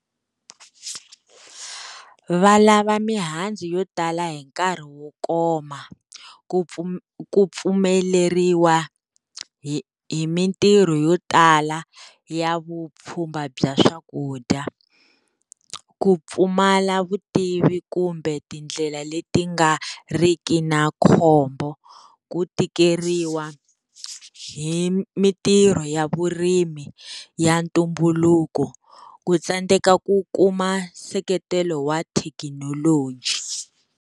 Va lava mihandzu yo tala hi nkarhi wo koma ku pfu pfumeleriwa hi hi mintirho yo tala ya vupfhumba bya swakudya, ku pfumala vutivi kumbe tindlela leti nga riki na khombo, ku tikeriwa hi mitirho ya vurimi ya ntumbuluko, ku tsandeka ku kuma seketelo wa thekinoloji.